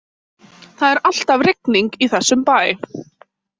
Það er alltaf rigning í þessum bæ.